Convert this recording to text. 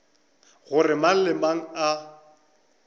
gore mang le mang a